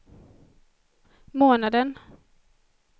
månaden